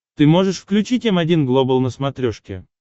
ты можешь включить м один глобал на смотрешке